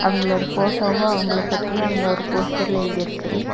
அவங்களோட போட்டோவு அவங்கள பத்தியு அங்க ஒரு போஸ்டர்ல எழுதிருக்கு.